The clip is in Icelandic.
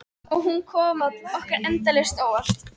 Og hún kemur okkur endalaust á óvart.